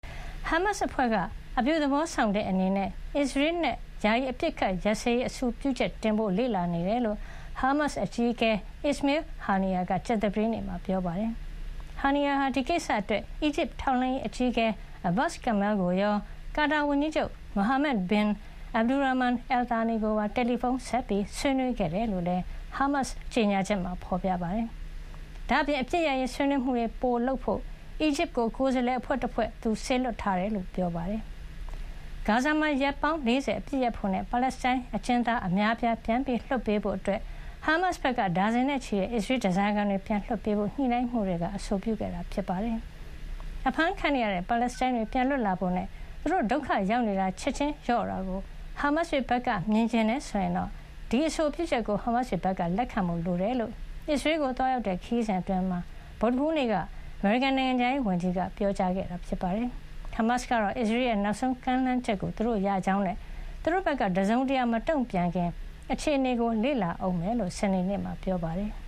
ဟာမတ်စ်အဖွဲ့က အပြုသဘောဆောင်တဲ့အနေနဲ့ အစ္စရေးနဲ့ ယာယီအပစ်အခတ် ရပ်စဲရေးအဆိုပြုချက်တင်ဖို့ လေ့လာနေတယ်လို့ ဟားမတ်စ်အကြီးအကဲ Ismail Haniyeh က ကြာသပတေးနေ့မှာ ပြောပါတယ်။ Haniyeh ဟာ ဒီကိစ္စအတွက် အီဂျစ်ထောက်လှမ်းရေးအကြီးအကဲ Abbas Kamel ကိုရော ကာတာဝန်ကြီးချုပ် Mohammed bin Abdulrahman Al Thani ကိုပါ တယ်လီဖုံးဆက်ပြီး ဆွေးနွေးခဲ့တယ်လို့လည်း ဟာမတ်စ်ကြေညာချက်မှာ ဖေါ်ပြပါတယ်။ ဒါ့အပြင် အပစ်ရပ်ရေးဆွေးနွေးမှုတွေ ပိုလုပ်ဖို့ အီဂျစ်ကို ကိုယ်စားလှယ်အဖွဲ့တဖွဲ့ သူစေလွှတ်ထားတယ် လို့လည်း ပြောပါတယ်။ ဂါဇာမှာ ရက်ပေါင်း ၄၀ အပစ်ရပ်ဖို့ နဲ့ ပါလက်စတိုင်းအကျဉ်းသား အများအပြားကို ပြန်လွှတ်ပေးဖို့အတွက် ဟာမတ်စ်ဘက်က ဒါဇင်နဲ့ချီတဲ့ အစ္စရေး ဓါးစားခံတွေကို ပြန်လွှတ်ပေးရေး ညှိနှိုင်းရေးမှူးတွေက အဆိုပြုခဲ့တာ ဖြစ်ပါတယ်။ အဖမ်းခံနေရတဲ့ ပါလက်စတိုင်းတွေ ပြန်လွတ်လာဖို့နဲ့ သူတို့ဒုက္ခရောက်နေတာတွေ ချက်ချင်းလျော့သွားတာကို ဟာမတ်စ်တွေဘက်က မြင်ချင်တယ်ဆိုရင် ဒီအဆိုပြုချက်ကို ဟာမတ်စ်တွေဘက်က လက်ခံဖို့လိုတယ်လို့ အစ္စရေးကို သွားရောက်တဲ့ ခရီးစဉ်အတွင်း ဗုဒ္ဓဟူးနေ့က အမေရိကန်နိုင်ငံခြားရေးဝန်ကြီးက ပြောကြားခဲ့တာပါ။ ဟာမတ်စ်ကတော့ အစ္စရေးရဲ့ နောက်ဆုံးကမ်းလှမ်းချက်ကို သူတို့ရရှိကြောင်းနဲ့ သူတို့ဘက်က တစုံတရာ မတုံ့ပြန်ခင် အခြေအနေကို လေ့လာအုံးမှာဖြစ်ကြောင်း စနေနေ့မှာ ပြောပါတယ်။